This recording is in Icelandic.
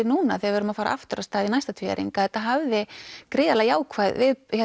núna þegar við erum að fara aftur af stað í næsta tvíæring að þetta hafði gríðarlega jákvæð